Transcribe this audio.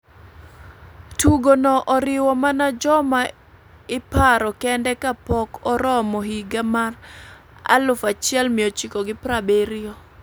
tugo no oriwo mana joma iparo kende ka pok oromo higa ma 1970,